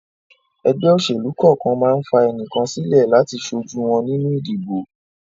Ẹgbẹ́ òṣèlú kọ̀ọ̀kan ma ń fà ẹnìkan sílẹ̀ láti ṣojú wọn nínú ìdìbò